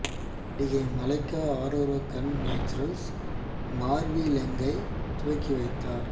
நடிகை மலைக்கா அரோரா கான் நேச்சுரல்ஸ் மார்வி லெங்யை துவக்கி வைத்தார்